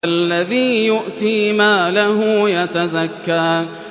الَّذِي يُؤْتِي مَالَهُ يَتَزَكَّىٰ